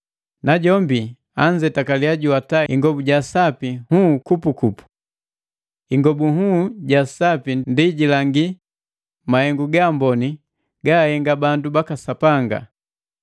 Najombi anzetakali juwata ingobu ja sapi nhuu jejinga.” Ingobu nhuu ja sapi ndi jilangi mahengu ga amboni gaahenga bandu baka Sapanga!